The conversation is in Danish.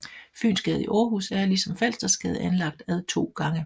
Fynsgade i Aarhus er ligesom Falstersgade anlagt ad to gange